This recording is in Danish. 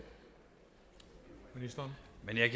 ønsker